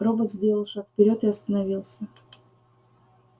робот сделал шаг вперёд и остановился